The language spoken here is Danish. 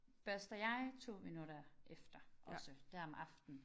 Børster jeg 2 minutter efter også der om aftenen